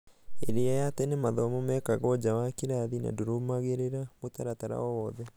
ĩria ya tene mathomo mekagĩrwo nja wa kĩrathi na ndĩrumagĩrĩra mũtaratara o wothe.